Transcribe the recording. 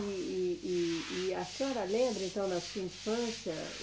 E, e, e, e a senhora lembra, então, da sua infância?